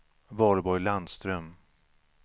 Valborg Landström